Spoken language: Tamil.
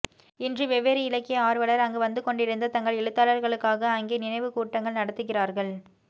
இன்று வெவ்வேறு இலக்கிய ஆர்வலர் அங்கு வந்துகொண்டிருந்த தங்கள் எழுத்தாளர்களுக்காக அங்கே நினைவுக்கூட்டங்கள் நடத்துகிறார்கள்